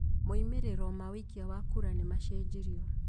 Moimĩrĩro ma ũikia wa kura nĩ machenjirio